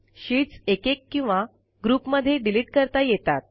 sheets एकेक किंवा ग्रुपमध्ये डिलिट करता येतात